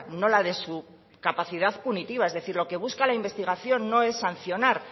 no la de su capacidad punitiva es decir lo que busca la investigación no es sancionar